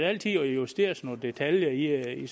altid justeres nogle detaljer i